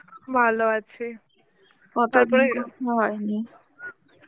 ভালো আছি. হঠাৎ overlap হয়নি